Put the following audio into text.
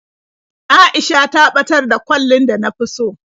A'isha ta ɓatar da kwallin da na fi so.